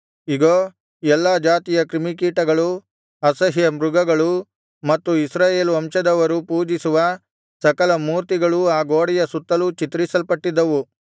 ಇಗೋ ಎಲ್ಲಾ ಜಾತಿಯ ಕ್ರಿಮಿಕೀಟಗಳೂ ಅಸಹ್ಯ ಮೃಗಗಳೂ ಮತ್ತು ಇಸ್ರಾಯೇಲ್ ವಂಶದವರು ಪೂಜಿಸುವ ಸಕಲ ಮೂರ್ತಿಗಳೂ ಆ ಗೋಡೆಯ ಸುತ್ತಲೂ ಚಿತ್ರಿಸಲ್ಪಟ್ಟಿದ್ದವು